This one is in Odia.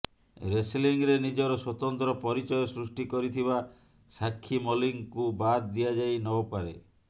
ରେସଲିଂରେ ନିଜର ସ୍ୱତନ୍ତ୍ର ପରିଚୟ ସୃଷ୍ଟି କରିଥିବା ସାକ୍ଷୀ ମଲ୍ଲିକଙ୍କୁ ବାଦ୍ ଦିଆଯାଇନପାରେ